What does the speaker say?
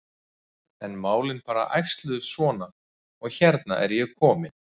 En málin bara æxluðust svona og hérna er ég komin.